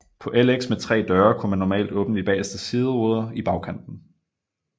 På LX med 3 døre kunne man normalt åbne de bageste sideruder i bagkanten